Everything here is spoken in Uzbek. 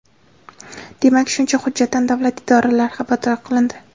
Demak, shuncha hujjatdan davlat idoralari xabardor qilindi.